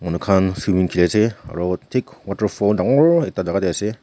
manu khan swimming khili ase aro thik waterfall dangor ekta jaga teh ase.